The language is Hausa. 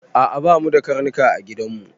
A'a ba mu da ƙarnuƙa a giɗan mu.